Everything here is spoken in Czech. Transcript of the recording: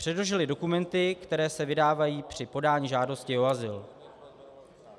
Předložili dokumenty, které se vydávají při podání žádosti o azyl.